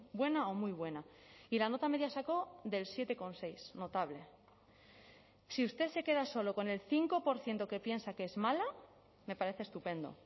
buena o muy buena y la nota media sacó del siete coma seis notable si usted se queda solo con el cinco por ciento que piensa que es mala me parece estupendo